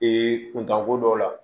Ee kuntanko dɔw la